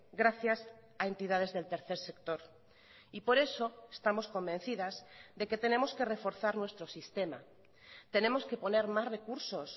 gracias a entidades del tercer sector y por eso estamos convencidas de que tenemos que reforzar nuestro sistema tenemos que poner más recursos